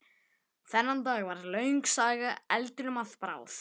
Þennan dag varð löng saga eldinum að bráð.